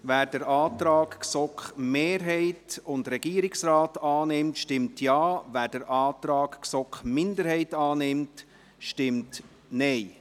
Wer den Antrag GSoK-Mehrheit und Regierungsrat annimmt, stimmt Ja, wer den Antrag GSoK-Minderheit annimmt, stimmt Nein.